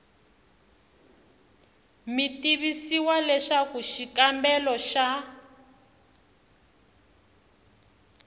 mi tivisiwa leswaku xikombelo xa